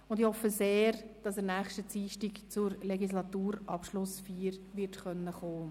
Ich hoffe sehr, dass er nächsten Dienstag zur Legislaturschlussfeier kommen wird.